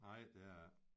Nej det er det ikke